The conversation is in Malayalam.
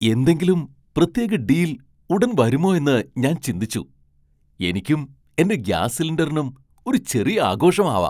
എന്തെങ്കിലും പ്രത്യേക ഡീൽ ഉടൻ വരുമോ എന്ന് ഞാൻ ചിന്തിച്ചു. എനിക്കും എന്റെ ഗ്യാസ് സിലിണ്ടറിനും ഒരു ചെറിയ ആഘോഷം ആവാം .